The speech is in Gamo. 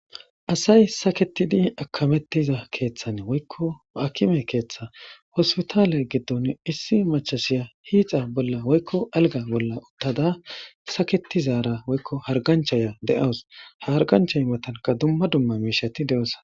Asay saketidi akamettiza keeththan woykko akime keeththa hospitaale giddon issi machasiya hiixa bolla woykko alga bolla uttada saketizaara woykko harganchaya de7awus ha hargancha matanka dumma dumma miishati de7ossona.